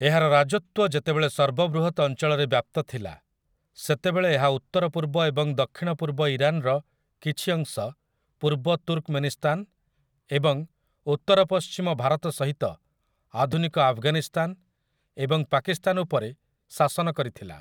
ଏହାର ରାଜତ୍ୱ ଯେତେବେଳେ ସର୍ବ ବୃହତ୍‌ ଅଞ୍ଚଳରେ ବ୍ୟାପ୍ତ ଥିଲା ସେତେବେଳେ ଏହା ଉତ୍ତରପୂର୍ବ ଏବଂ ଦକ୍ଷିଣପୂର୍ବ ଇରାନ୍‌ର କିଛି ଅଂଶ, ପୂର୍ବ ତୁର୍କମେନିସ୍ତାନ୍ ଏବଂ ଉତ୍ତରପଶ୍ଚିମ ଭାରତ ସହିତ ଆଧୁନିକ ଆଫ୍‌ଗାନିସ୍ତାନ୍ ଏବଂ ପାକିସ୍ତାନ୍ ଉପରେ ଶାସନ କରିଥିଲା ।